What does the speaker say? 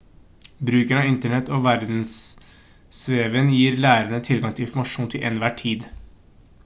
bruken av internett og verdensveven gir lærende tilgang til informasjon til enhver tid